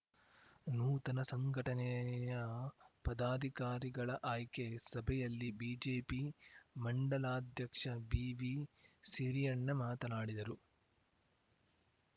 ನೂತನ ಸಂಘಟನೆಯ ಪದಾಧಿಕಾರಿಗಳ ಆಯ್ಕೆ ಸಭೆಯಲ್ಲಿ ಬಿಜೆಪಿ ಮಂಡಲಾಧ್ಯಕ್ಷ ಬಿವಿಸಿರಿಯಣ್ಣ ಮಾತನಾಡಿದರು